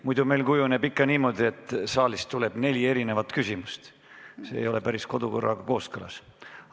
Muidu meil kujuneb niimoodi, et saalist tuleb neli erinevat küsimust, ja see ei ole kodukorraga päris kooskõlas.